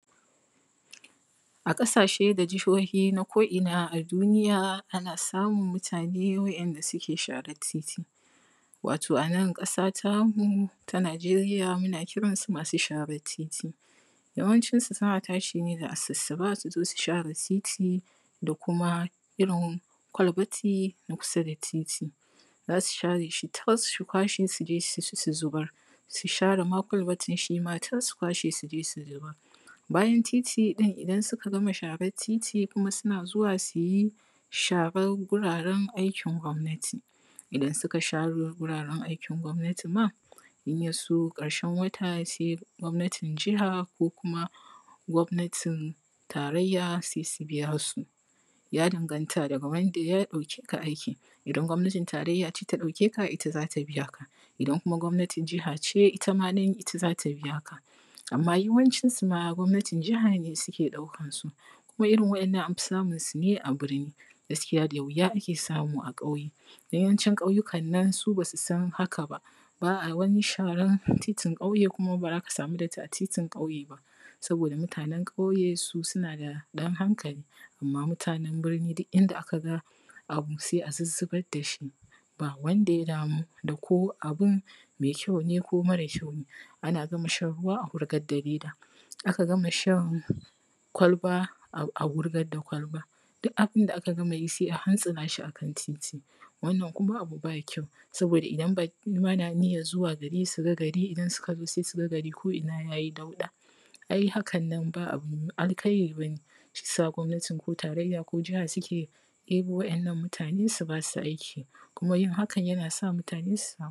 A ƙasashe da jihohi na ko’ina a duniya ana samun masu sharan titi wato a nan ƙasa tamu ta Najeriya muna kiran su masu sharan titi, yawancinsu suna tashi ne da asussuba su zo su share titi da kuma kwalbati na kusa da titi za su share shi tas su kwashe su je su zubar bayan titi ɗin idan suka gama sharan titi kuma sai suna zuwa su yi sharan wuraren aikin gwamnati. Idan suka, idan ya so ƙarshen wata gwamnatin jiha ko kuma gwamnatin tarayya sai ta biya su, ya danganta daga wanda ya ɗauke ka aikin, idan gwamnatin tarayya ce ta ɗauke ka ita za ta biya ka, idan kuma gwamnatin jiha ne ita ma nan ita za ta biya ka. Amma yawancin su ma gwamnatin jiha ne ke ɗaukan su waɗannan, an fi samun su ne a birni da wuya ake samu a ƙauye, yawancin ƙauyukan nan su ba su san hakan ba, ba a wani sharan titin ƙauye kuma ba za ka samu datti a titin ƙauye ba saboda mutanen ƙauye suna daɗan hankali, amman mutanen birni duk inda aka ga abu sai a zuzzubar da shi ba wanda ya damu da ko abun mai kyau ne ko sai a hankali, an aka gama shan ruwa a wurgar da leda, aka gama shan kwalba a wurgar da kwalban ko me aka gama yi sai a hantsina shi akan titi, wannan kuma abu ba kyau saboda idan baƙi ma na niyyan su zo gari su ga gari sai su ga gari ko’ina ya yi dauɗa, ai hakan nan ba alkairi ba ne, shi ya sa gwamnatin jiha kona tarayya suke ɗaukan waɗannan mutane su ba su aiki kuma yin hakan na sa mutane su sami aiki.